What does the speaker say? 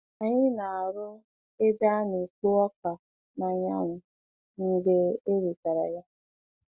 Anyị na-arụ ebe a na-ekpo ọka n’anyanwụ mgbe e wetara ya.